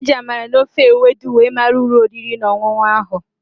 E ji Amala na ofe Ewedu were mara ulo oriri na onunu ahu